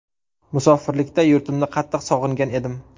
Musofirlikda yurtimni qattiq sog‘ingan edim.